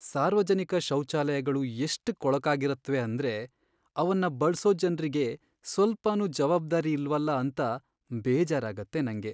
ಸಾರ್ವಜನಿಕ ಶೌಚಾಲಯಗಳು ಎಷ್ಟ್ ಕೊಳಕಾಗಿರತ್ವೆ ಅಂದ್ರೆ ಅವನ್ನ ಬಳ್ಸೋ ಜನ್ರಿಗೆ ಸ್ವಲ್ಪನೂ ಜವಾಬ್ದಾರಿ ಇಲ್ವಲ ಅಂತ ಬೇಜಾರಾಗತ್ತೆ ನಂಗೆ.